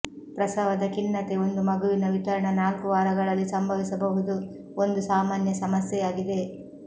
ಪ್ರಸವದ ಖಿನ್ನತೆ ಒಂದು ಮಗುವಿನ ವಿತರಣಾ ನಾಲ್ಕು ವಾರಗಳಲ್ಲಿ ಸಂಭವಿಸಬಹುದು ಒಂದು ಸಾಮಾನ್ಯ ಸಮಸ್ಯೆಯಾಗಿದೆ